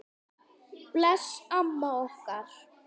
Bless amma okkar.